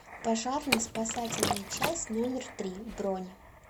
пожарно спасательная часть номер три бронь